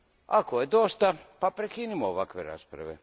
Ako je dosta, pa prekinimo ovakve rasprave.